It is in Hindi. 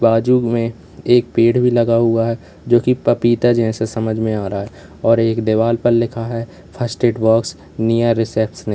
बाजू में एक पेड़ भी लगा हुआ है जो कि पपीता जैसे समझ में आ रहा है और एक देवाल पर लिखा है first aid box near reception --